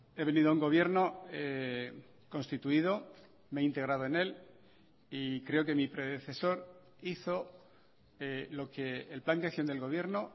he venido a un gobierno constituido me he integrado en él y creo que mi predecesor hizo lo que el plan de acción del gobierno